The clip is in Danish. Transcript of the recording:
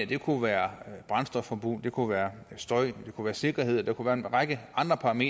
det kunne være brændstofforbrug det kunne være støj det kunne være sikkerhed og være en række andre